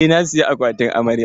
Eh, na saya akwatin amarya.